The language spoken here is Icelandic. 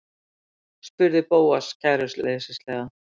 spurði Bóas kæruleysislega.